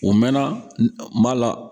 U mɛnna U m'a la